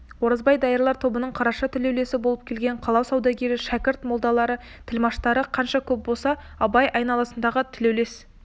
оразбай дайырлар тобының қарашы тілеулесі боп келген қала саудагері шәкірт молдалары тілмаштары қанша көп болса абай айналасындағы тілеулес